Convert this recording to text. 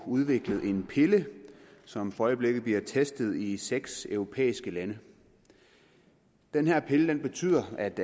udviklet en pille som for øjeblikket bliver testet i seks europæiske lande den her pille betyder at